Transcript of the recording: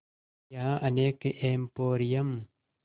यहाँ अनेक एंपोरियम